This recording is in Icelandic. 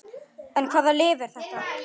En hvaða lyf er þetta?